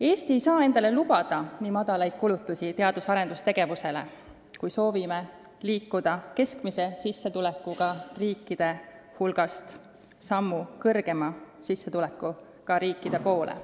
Eesti ei saa endale lubada nii väikesi kulutusi teadus- ja arendustegevusele, kui ta soovib liikuda keskmise sissetulekuga riikide hulgast aste kõrgema sissetulekuga riikide poole.